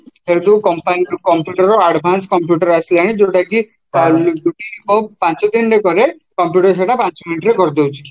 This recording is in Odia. ସେଇଠୁ company computerର advance computer ଆସିଲାଣି ଯୋଉଁଟାକି ପାଞ୍ଚ ଦିନିରେ କରେ computer ସେଇଟା ପାଞ୍ଚ minute ରେ କରିଦେଉଛି